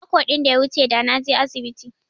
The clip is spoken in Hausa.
Mako din da ya wuche da naje asibiti.